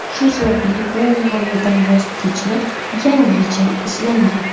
Shu sababli bu g‘oyadan voz kechilib, yangi yechim izlangan.